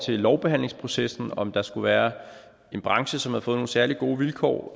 til lovbehandlingsprocessen om der skulle være en branche som har fået nogle særlig gode vilkår